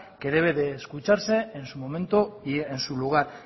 que debe de escucharse en su momento y en su lugar